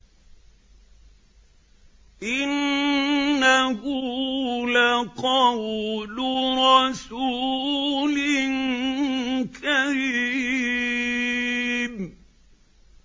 إِنَّهُ لَقَوْلُ رَسُولٍ كَرِيمٍ